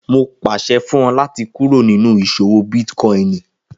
Mo pàṣẹ fún ọ láti kúrò nínú ìṣòwò bítkòinì